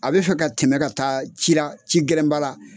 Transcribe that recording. A be fɛ ka tɛmɛ ka taa ci la, ci gɛlɛn ba la.